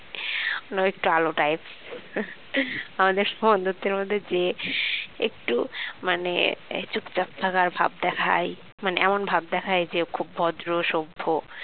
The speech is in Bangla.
মানে ও একটু আলু types মানে আমাদের বন্ধুত্বের মধ্যে যে একটু মানে চুপচাপ থাকার ভাব দেখায় মানে এমন ভাব দেখায় যে ও খুব ভদ্র সভ্য